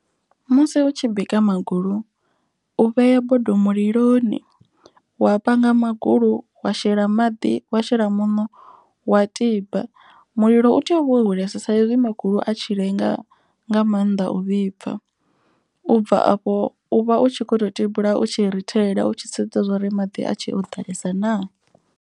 Musi u tshi bika magulu u vhea bodo muliloni. Wa panga magulu wa shela maḓi wa shela muṋo wa tiba. Mulilo u tea uvha wo hulesa sa ezwi makhulu a tshi lenga nga maanḓa u vhibva. U bva afho u vha u tshi kho to tibula u tshi rithelela u tshi sedza zwa uri maḓi a tshe o ḓalesa naa.